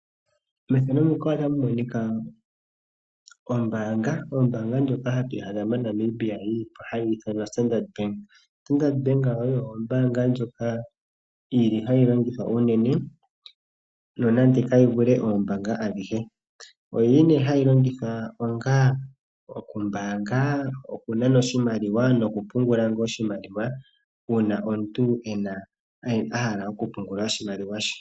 Ombaanga ndjoka hatu adha moNamibia hayi ithanwa Standard Bank oyo ombaanga ndjoka yili hayi longithwa unene nonande kayi vule oombaanga adhihe. Oyi li nee hayi longithwa okumbaanga, okunana oshimaliwa noku pungula ngoo, uuna omuntu ena, a hala okupungula oshimaliwa she.